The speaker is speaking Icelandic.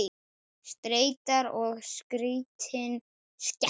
Streita er skrítin skepna.